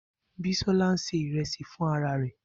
Bisola ń ṣe ìrẹsì fún ara rẹ̀.